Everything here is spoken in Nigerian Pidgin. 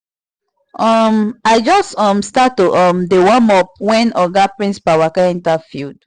um i just um start to um dey warm up wen oga principal waka enter field